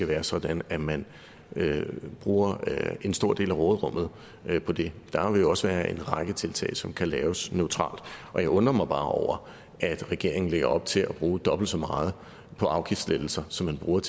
være sådan at man bruger en stor del af råderummet på det der vil jo også være en række tiltag som kan laves neutralt og jeg undrer mig bare over at regeringen lægger op til at bruge dobbelt så meget på afgiftslettelser som man bruger